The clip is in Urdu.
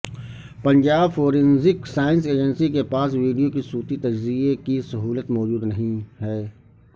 پنجاب فورینزک سائنس ایجنسی کے پاس ویڈیو کے صوتی تجزیے کی سہولت موجود نہیں ہے